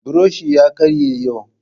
Buroshi ya karye yau